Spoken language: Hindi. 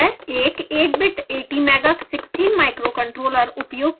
एक 8bit atmega16 microcontroller उपयोग किया जाता है